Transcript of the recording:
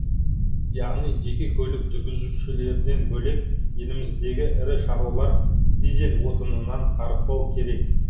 яғни жеке көлік жүргізушілерден бөлек еліміздегі ірі шаруалар дизель отынынан тарықпау керек